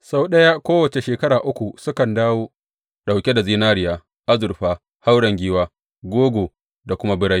Sau ɗaya kowace shekara uku sukan dawo ɗauke da zinariya, azurfa, hauren giwa, gogo da kuma birai.